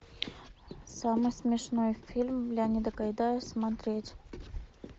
самый смешной фильм леонида гайдая смотреть